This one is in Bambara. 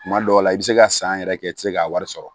Kuma dɔw la i bɛ se ka san yɛrɛ kɛ i tɛ se k'a wari sɔrɔ